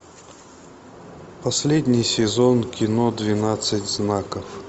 последний сезон кино двенадцать знаков